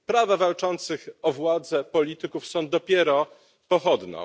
Prawa walczących o władzę polityków są dopiero pochodną.